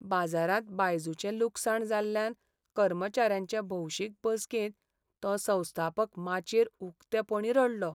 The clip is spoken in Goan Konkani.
बाजारांत बायजूचें लुकसाण जाल्ल्यान कर्मचाऱ्यांचे भौशीक बसकेंत तो संस्थापक माचयेर उक्तेपणीं रडलो.